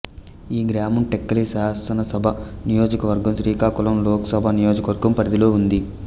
ఈ గ్రామం టెక్కలి శాసనసభ నియోజకవర్గం శ్రీకాకుళం లోకసభ నియోజకవర్గం పరిధిలో ఉంది